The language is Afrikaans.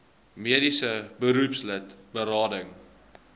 mediese beroepslid berading